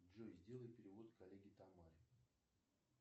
джой сделай перевод коллеге тамаре